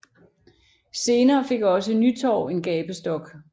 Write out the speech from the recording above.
Senere fik også Nytorv en gabestok